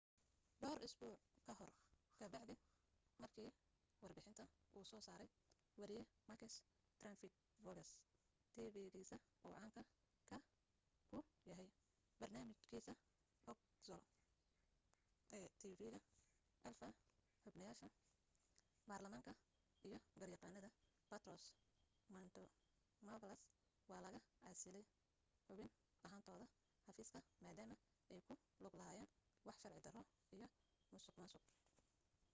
dhowr usbuuc ka hor ka bacdi marki warbixinta uu soo saray wariye makis triantafylopoulos tifigisa uu caan ka ku yahay barnaamij kiisa xougla ee tv ga alpha xubnayasha barlamaanka iyo garyaqanada petros mantouvalos waa laga casiley xubin ahantooda xafiiska madama ay ku lug lahayeen wax sharci daro iyo musuq maasuq